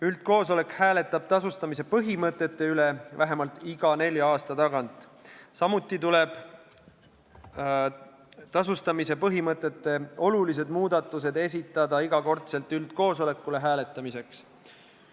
Üldkoosolek hääletab tasustamise põhimõtete üle vähemalt iga nelja aasta tagant ja ka tasustamise põhimõtete olulised muudatused tuleb esitada üldkoosolekul hääletamiseks.